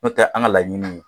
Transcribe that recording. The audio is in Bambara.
N'o tɛ an ka laɲini ye